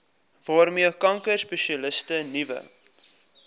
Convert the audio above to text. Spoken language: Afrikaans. waarmee kankerspesialiste nuwe